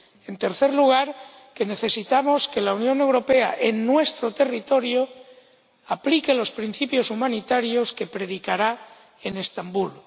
En tercer lugar, necesitamos que la Unión Europea, en nuestro territorio, aplique los principios humanitarios que predicará en Estambul.